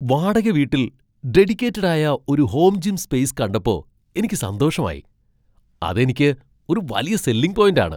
വാടക വീട്ടിൽ ഡെഡികേറ്റഡ് ആയ ഒരു ഹോം ജിം സ്പേസ് കണ്ടപ്പോ എനിക്ക് സന്തോഷമായി, അത് എനിക്ക് ഒരു വലിയ സെല്ലിങ് പോയിന്റ് ആണ് .